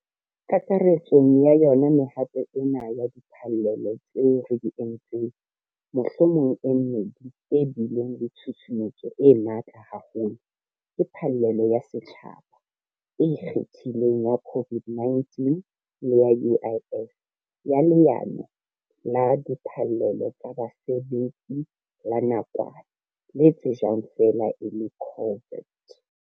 Kakaretsong ya yona mehato ena ya diphallelo tseo re di entseng mohlomong e mmedi e bileng le tshusumetso e matla haholo ke phallelo ya setjhaba e ikgethileng ya COVID-19 le ya UIF, ya Leano la Diphallelo tsa Basebetsi la Nakwana, le tsejwang feela e le COVID TERS.